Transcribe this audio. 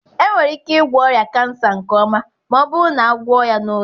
Enwere ike ịgwọ ọrịa kansa nke ọma ma ọ bụrụ na a gwọọ ya n'oge.